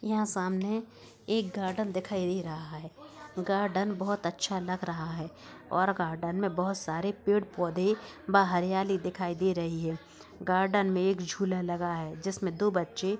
यहाँ सामने एक गार्डन दिखाई दे रहा है। गार्डन बहत अच्छा लग रहा है और गार्डन में बह सारे पेड़-पौधे ब हरियाली दिखाई दे रही है। गार्डन में एक झूला लगा है जिसमें दो बच्चे --